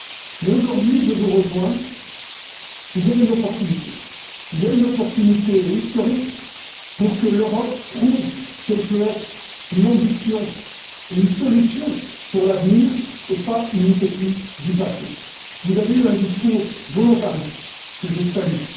Mais aujourd'hui, je vous rejoins, il y a une opportunité historique pour que l'Europe prouve qu'elle peut être une ambition et une solution pour l'avenir, et pas une utopie du passé. Vous avez eu un discours volontariste, que je salue.